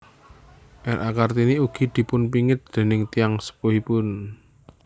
R A Kartini ugi dipunpingit déning tiyang sepuhipun